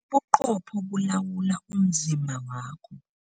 Ubuqopho bulawula umzimba wakho.